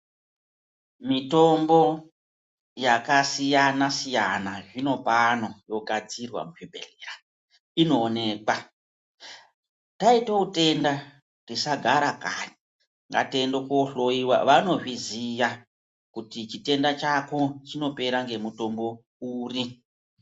Mitombo yakasiyana siyana zvinopano yogadzirwa muzvibhedhlea inoonekwa. Taita utenda tisagara kanyi ngatiende koohloyiwa vanozviziya kuti chitenda chako chinopea ngemutombo uri.